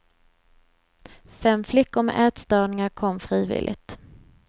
Fem flickor med ätstörningar kom frivilligt.